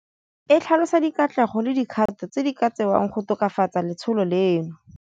E tlhalosa dikatlego le dikgato tse di ka tsewang go tokafatsa letsholo leno.